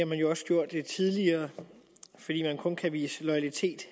man jo også gjort tidligere fordi man kun kan vise loyalitet